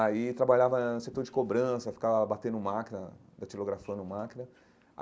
Aí trabalhava no setor de cobrança, ficava batendo máquina, datilografando máquina.